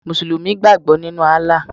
Mùsùlùmí gbàgbọ́ nínu Allah